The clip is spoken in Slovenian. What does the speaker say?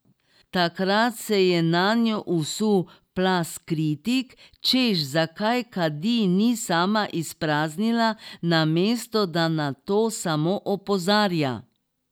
Takrat se je nanjo usul plaz kritik, češ zakaj kadi ni sama izpraznila, namesto da na to samo opozarja.